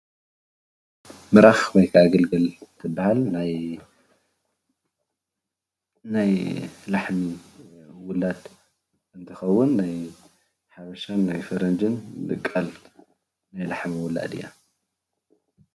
ምራኽ ወይከዓ ገልገል ትበሃል ። ናይ ላሕሚ ውላድ እንትትኸውን ናይ ሓበሻን ናይ ፈረንጅን ድቃል ናይ ላሕሚ ውላድ እያ።